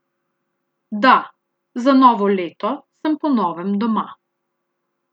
Da, za novo leto sem po novem doma.